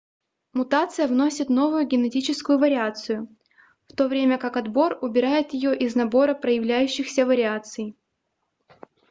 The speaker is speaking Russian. мутация вносит новую генетическую вариацию в то время как отбор убирает её из набора проявляющихся вариаций